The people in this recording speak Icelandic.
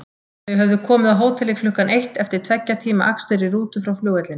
Þau höfðu komið á hótelið klukkan eitt eftir tveggja tíma akstur í rútu frá flugvellinum.